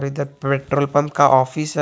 इधर petrol pump का office है।